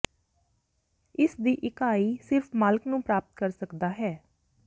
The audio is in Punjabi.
ਇਸ ਦੀ ਇਕਾਈ ਸਿਰਫ਼ ਮਾਲਕ ਨੂੰ ਪ੍ਰਾਪਤ ਕਰ ਸਕਦਾ ਹੈ